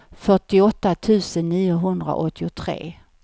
fyrtioåtta tusen niohundraåttiotre